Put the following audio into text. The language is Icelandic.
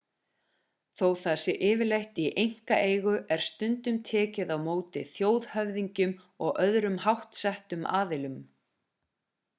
þó það sé yfirleitt í einkaeigu er stundum tekið á móti þjóðhöfðingjum og öðrum háttsettum aðilum